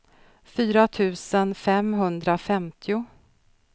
fyra tusen femhundrafemtio